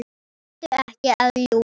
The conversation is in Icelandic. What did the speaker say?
Vertu ekki að ljúga!